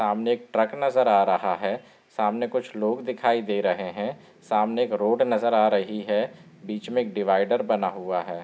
सामने एक ट्रक नजर आ रहा है| सामने कुछ लोग दिखाई दे रहे हैं| सामने एक रोड नजर आ रही है| बीच में एक डिवाइडर बना हुआ है।